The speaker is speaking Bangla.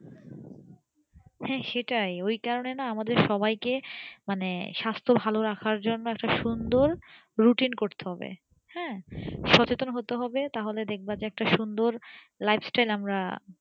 হ্যাঁ সেটাই ওই কারণে না আমাদের সবাইকে মানে স্বাস্থ ভালো রাখার জন্য একটা সুন্দর routine করতে হবে হ্যাঁ সচেতন হতে হবে তাহলে দেখবা যে একটা সুন্দর lifestyle আমরা